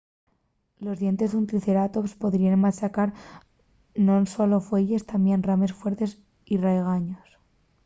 los dientes d'un triceratops podríen machacar non solo fueyes tamién rames fuertes y raigaños